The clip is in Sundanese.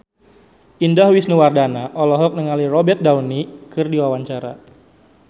Indah Wisnuwardana olohok ningali Robert Downey keur diwawancara